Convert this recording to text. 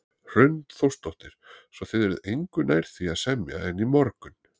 Hrund Þórsdóttir: Svo þið eruð engu nær því að semja en í morgun?